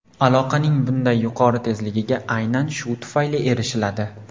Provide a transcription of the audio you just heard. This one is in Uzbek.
Aloqaning bunday yuqori tezligiga aynan shu tufayli erishiladi.